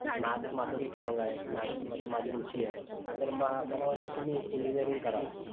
maths माझं strong आहे maths मध्ये माझी रुची आहे तर मग मला वाटतंय कि मी engineering कराव